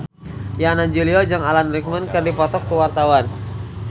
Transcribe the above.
Yana Julio jeung Alan Rickman keur dipoto ku wartawan